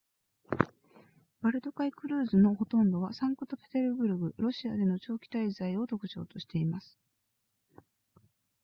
バルト海クルーズのほとんどはサンクトペテルブルクロシアでの長期滞在を特徴としています